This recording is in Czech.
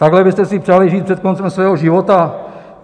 Takhle byste si přáli žít před koncem svého života?